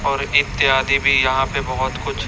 और इत्यादि भी यहाँ पे बहोत कुछ--